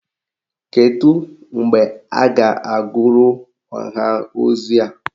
Kedu mgbe a ga-agụrụ ọha ozi a?